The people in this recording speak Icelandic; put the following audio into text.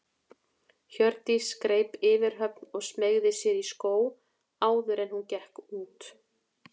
Hjördís greip yfirhöfn og smeygði sér í skó áður en hún gekk út.